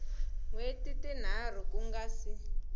hweti tinharhu ku nga si